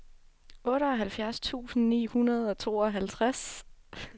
otteoghalvfjerds tusind ni hundrede og tooghalvtreds